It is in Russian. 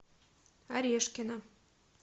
орешкина